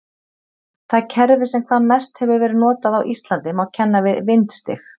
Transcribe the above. Það kerfi sem hvað mest hefur verið notað á Íslandi má kenna við vindstig.